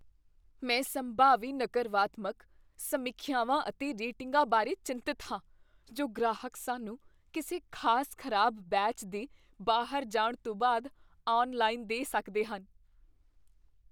ਮੈਂ ਸੰਭਾਵੀ ਨਕਰਵਾਤਮਕ ਸਮੀਖਿਆਵਾਂ ਅਤੇ ਰੇਟਿੰਗਾਂ ਬਾਰੇ ਚਿੰਤਤ ਹਾਂ, ਜੋ ਗ੍ਰਾਹਕ ਸਾਨੂੰ ਕਿਸੇ ਖ਼ਾਸ ਖ਼ਰਾਬ ਬੈਚ ਦੇ ਬਾਹਰ ਜਾਣ ਤੋਂ ਬਾਅਦ ਔਨਲਾਈਨ ਦੇ ਸਕਦੇ ਹਨ।